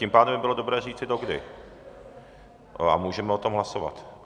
Tím pádem by bylo dobré říci, do kdy, a můžeme o tom hlasovat.